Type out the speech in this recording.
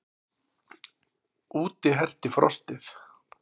Úti herti frostið.